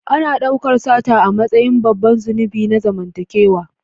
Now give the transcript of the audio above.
Ana daukar sata a matsayin babban zunubi na zamantakewa.